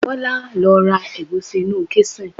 Bola lo ra egusi inú kisin